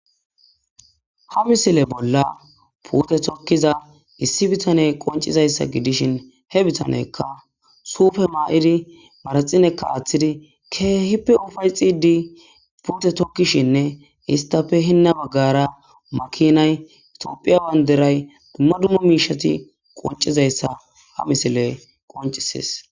Ha missile bolla puute tokiza issi bitaney qoncizayssa gidishin he bitaneykka suufe mayidi maraxinekka aaththidi keehippe ufa'etidi puute tokkishenne isttape hina bagara makinay,Tophphiya bandiray dumma dumma miishati qoncizayssa ha missiley qoncisees.